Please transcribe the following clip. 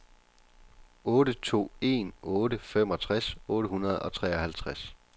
otte to en otte femogtres otte hundrede og treoghalvtreds